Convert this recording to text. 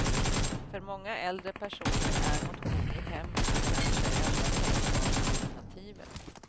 För många äldre personer är motion i hemmet det kanske enda tänkbara alternativet.